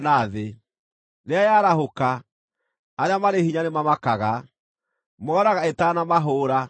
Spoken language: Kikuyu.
Rĩrĩa yarahũka, arĩa marĩ hinya nĩmamakaga; mooraga ĩtanamahũũra.